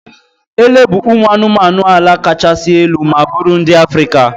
Ele bụ ụmụ anụmanụ ala kachasị elu ma bụrụ ndị Africa.